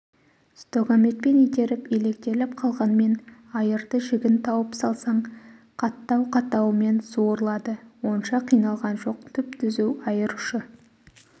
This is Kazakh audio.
стогаметпен итеріп илектеліп қалғанмен айырды жігін тауып салсаң қаттау-қаттауымен суырылады онша қиналған жоқ түп-түзу айыр ұшы